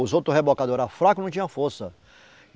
Os outros rebocadores eram fracos e não tinham força.